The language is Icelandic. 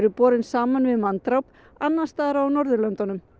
borin saman við manndráp annars staðar á Norðurlöndum